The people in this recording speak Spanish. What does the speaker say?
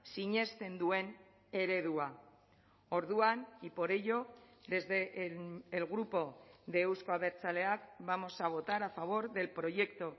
sinesten duen eredua orduan y por ello desde el grupo de euzko abertzaleak vamos a votar a favor del proyecto